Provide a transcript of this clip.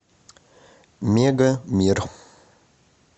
мега мир